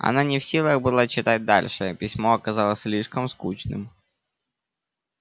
она не в силах была читать дальше письмо оказалось слишком скучным